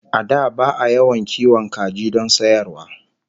A da ba'a yawan kiwon kaji don sayarwa